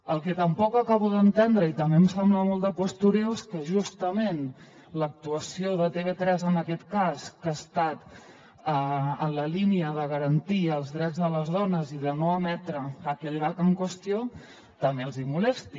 el que tampoc acabo d’entendre i també em sembla molt de postureo és que justament l’actuació de tv3 en aquest cas que ha estat en la línia de garantir els drets de les dones i de no emetre aquell gag en qüestió també els hi molesti